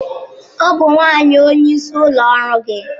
Ọ bụ nwanyị onye isi ụlọ ọrụ gị?